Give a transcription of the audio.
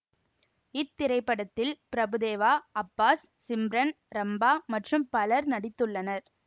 இத்திரைப்படத்தில் பிரபுதேவா அப்பாஸ் சிம்ரன் ரம்பா மற்றும் பலர் நடித்துள்ளனர்